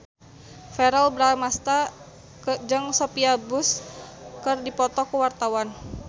Verrell Bramastra jeung Sophia Bush keur dipoto ku wartawan